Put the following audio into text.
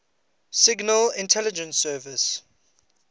signal intelligence service